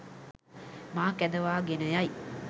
මා කැඳවා ගෙන යයි